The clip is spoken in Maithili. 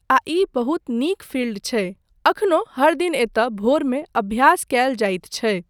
आ ई बहुत नीक फील्ड छै, एखनो हर दिन एतय भोरमे अभ्यास कयल जाइत छै।